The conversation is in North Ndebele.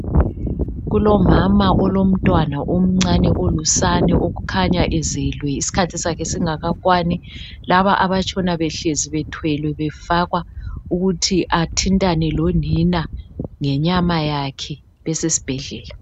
Kulomama olomntwana omncane olusane okhanya ezelwe isikhathi sakhe singakakwani, laba abatshona behlezi bethwelwe befakwa ukuthi athintane lonina ngenyama yakhe beses'bhedlela.